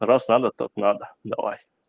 раз надо то надо давай